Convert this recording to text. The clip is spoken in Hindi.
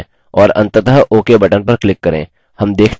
और अंततः ok button पर click करें